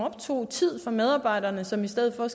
optog tid fra medarbejderne som i stedet for